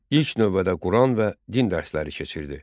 İlk növbədə Quran və din dərsləri keçirdi.